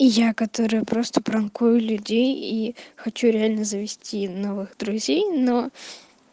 и я которая просто пранкую людей и хочу реально завести новых друзей но